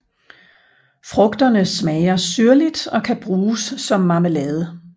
Frugterne smager syrligt og kan bruges som marmelade